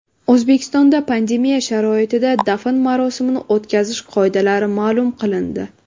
O‘zbekistonda pandemiya sharoitida dafn marosimini o‘tkazish qoidalari ma’lum qilindi.